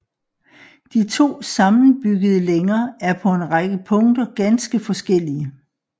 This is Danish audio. De to sammenbyggede længer er på en række punkter ganske forskellige